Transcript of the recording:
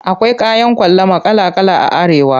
Akwai kayan ƙwalama kala kala a Arewa.